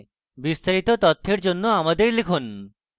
বিস্তারিত তথ্যের জন্য আমাদের লিখুন